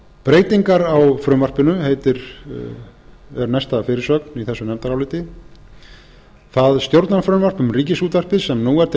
breytingar á frumvarpinu er næsta fyrirsögn í þessu nefndaráliti það stjórnarfrumvarp um ríkisútvarpið sem nú er til